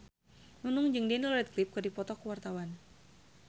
Nunung jeung Daniel Radcliffe keur dipoto ku wartawan